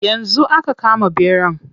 Yanzu aka kama ɓeran.